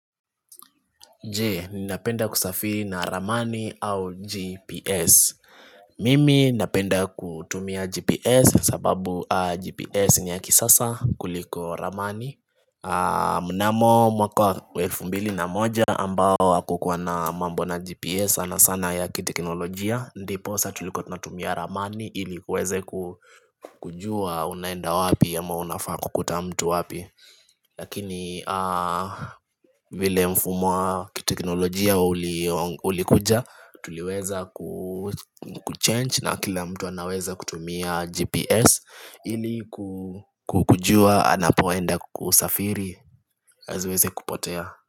Je, ninapenda kusafiri na ramani au GPS Mimi napenda kutumia GPS sababu GPS ni ya kisasa kuliko ramani Mnamo mwaka wa elfu mbili na moja ambao hakukua na mambo na GPS sana sana ya kiteknolojia Ndiposa tulikua tunatumia ramani ili kuweza kujua unaenda wapi ama unafaa kukuta mtu wapi Lakini vile mfumo wa kiteknolojia ulikuja Tuliweza kuchannge na kila mtu anaweza kutumia GPS ili ku kujua anapoenda kusafiri asiweze kupotea.